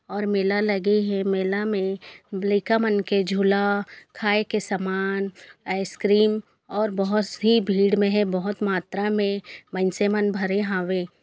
और मेला लगे हे मेला में लाइका मन के जुला खाये के समान आइसक्रीम और बहोत सी भीड़ में है बहुत मात्रा में मइंसे मन भरे हावे।